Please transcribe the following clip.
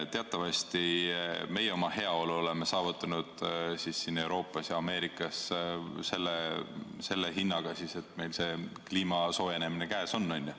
Teatavasti meie oma heaolu oleme saavutanud siin Euroopas ja Ameerikas selle hinnaga, et nüüd on kliimasoojenemine käes.